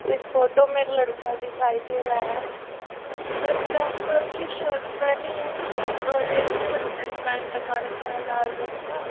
इस फोटो में एक लड़का दिखाई दे रहा है जिसमें ब्लैक कलर की शर्ट पहनी है और एक नेक बैंड लगा रखा है लाल रंग का।